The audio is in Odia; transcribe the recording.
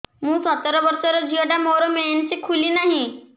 ମୁ ସତର ବର୍ଷର ଝିଅ ଟା ମୋର ମେନ୍ସେସ ଖୁଲି ନାହିଁ